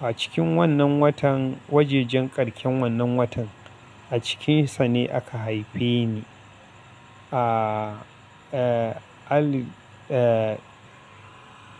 A cikin wannan watan, wajejen karshen wannan watan a cikinsa ne aka haife ni a, eh, al, eh.